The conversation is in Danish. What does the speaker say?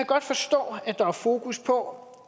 godt forstå at der er fokus på